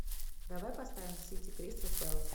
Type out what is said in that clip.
давай поставим сити кристал пэлас